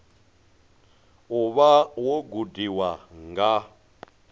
u vha wo gudiwa nga